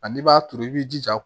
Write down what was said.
Ani i b'a turu i b'i jija